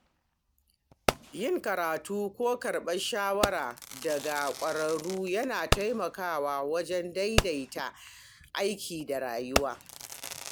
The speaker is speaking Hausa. Yin karatu ko karɓar shawara daga ƙwararru yana taimakawa wajen daidaita aiki da rayuwa.